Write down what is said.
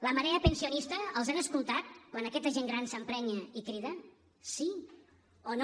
la marea pensionista els han escoltat quan aquesta gent gran s’emprenya i crida sí o no